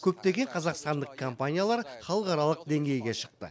көптеген қазақстандық компаниялар халықаралық деңгейге шықты